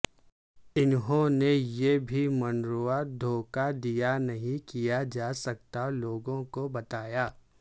انہوں نے یہ بھی منروا دھوکہ دیا نہیں کیا جا سکتا لوگوں کو بتایا